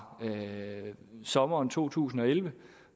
sommeren to tusind og elleve